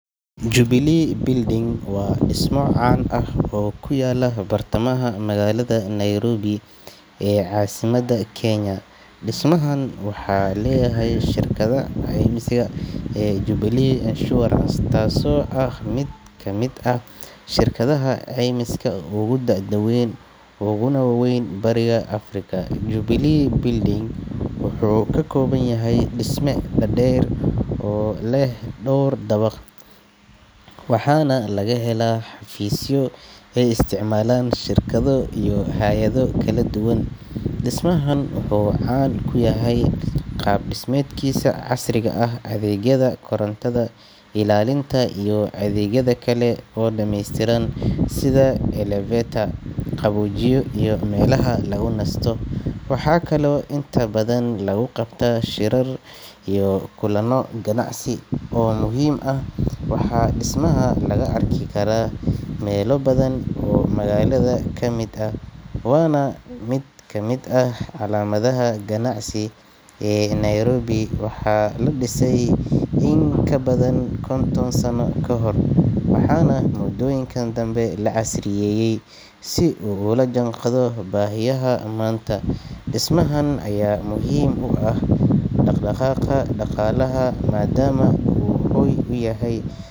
Jubilee building waa dhismo caan ah oo ku yaalla bartamaha magaalada Nairobi ee caasimadda Kenya. Dhismahan waxaa leeyahay shirkadda caymiska ee Jubilee Insurance, taasoo ah mid ka mid ah shirkadaha caymiska ugu da'da weyn uguna waaweyn bariga Afrika. Jubilee building wuxuu ka kooban yahay dhisme dhaadheer oo leh dhawr dabaq, waxaana laga helaa xafiisyo ay isticmaalaan shirkado iyo hay’ado kala duwan. Dhismahan wuxuu caan ku yahay qaab-dhismeedkiisa casriga ah, adeegyada korontada, ilaalinta, iyo adeegyada kale oo dhameystiran sida elevator, qaboojiye iyo meelaha lagu nasto. Waxaa kaloo inta badan lagu qabtaa shirar iyo kulanno ganacsi oo muhiim ah. Waxaa dhismaha laga arki karaa meelo badan oo magaalada ka mid ah, waana mid ka mid ah calaamadaha ganacsi ee Nairobi. Waxaa la dhisay in ka badan konton sano kahor, waxaana muddooyinkan dambe la casriyeeyay si uu ula jaanqaado baahiyaha maanta. Dhismahan ayaa muhiim u ah dhaqdhaqaaqa dhaqaalaha maadaama uu hoy u yahay.